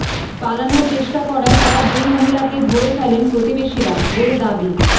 পালানোর চেষ্টা করায় তাঁরা দুই মহিলাকে ধরে ফেলেন প্রতিবেশীরা বলে দাবি